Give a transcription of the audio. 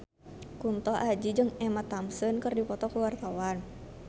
Kunto Aji jeung Emma Thompson keur dipoto ku wartawan